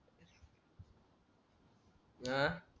अह